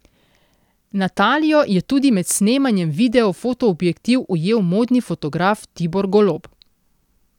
Natalijo je tudi med snemanjem videa v fotoobjektiv ujel modni fotograf Tibor Golob.